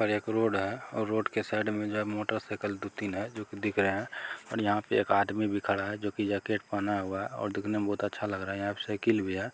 और एक रोड है और रोड के साइड में जो है मोटर साइकिल दू तीन है जो की दिख रहे है और यहाँ पर एक आदमी भी खड़ा है जो की जाकेट पहना हुआ है और दिखने में बहुत अच्छा लग रहा है यहाँ पर साइकिल भी है